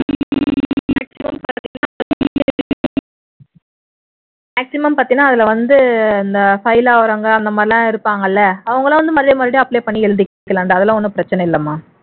maximum பார்த்தீன்னா அதுல வந்து இந்த fail ஆகுறவங்க அந்த மாதிரி எல்லாம் இருப்பாங்க இல்ல அவங்க எல்லாம் மறுபடியும் மறுபடியம் apply பண்ணி எழுதிக்கலாம்டா அதெல்லாம் ஒண்ணும் பிரச்சினை இல்லைமா